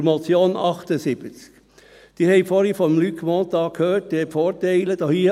Zur Motion zu Traktandum 78 : Sie haben vorhin von Luc Mentha die Vorteile gehört.